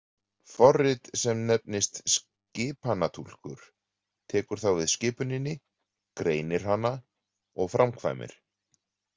Forrit sem nefnist skipanatúlkur tekur þá við skipuninni, greinir hana og framkvæmir.